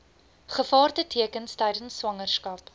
gevaartekens tydens swangerskap